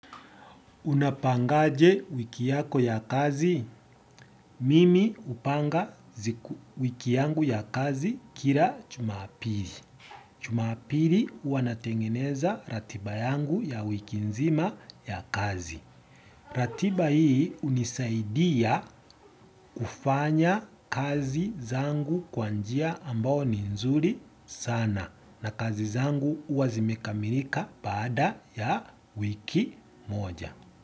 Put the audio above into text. Unapangaje wiki yako ya kazi? Mimi hupanga wiki yangu ya kazi kila jumapili. Jumapili huwa natengeneza ratiba yangu ya wiki nzima ya kazi. Ratiba hii hunisaidia kufanya kazi zangu kwa njia ambao ni nzuri sana na kazi zangu huwa zimekamilika baada ya wiki moja.